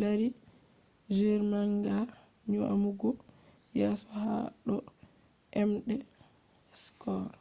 lari jr manga nyamugo yeso ha do emde scores